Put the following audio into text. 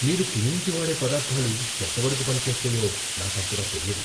మీరు క్లీనింగ్కి వాడే పదార్ధాలు ఎంతవరకు పని చేస్తాయో నాకు అంతగా తెలియదు.